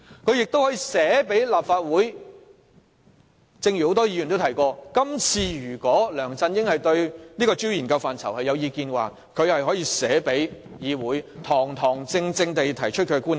正如很多議員剛才提過，如梁振英對調查範疇有意見，可以去信立法會，堂堂正正提出他的觀點。